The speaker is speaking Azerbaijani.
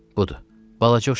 Budur, balaca uşaqdır.